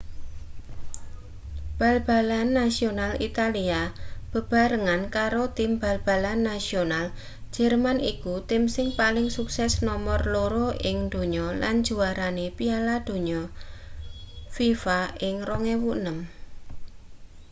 bal-balan nasional italia bebarengan karo tim bal-balan nasional jerman iku tim sing paling sukses nomer loro ing donya lan juwarane piala donya fifa ing 2006